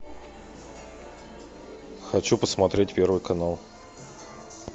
хочу посмотреть первый канал